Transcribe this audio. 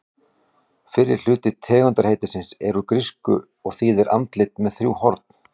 Fyrri hluti tegundarheitisins er úr grísku og þýðir andlit með þrjú horn.